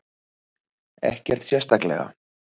Ekkert sérstaklega.